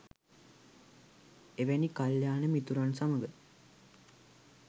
එවැනි කල්‍යාණ මිතුරන් සමඟ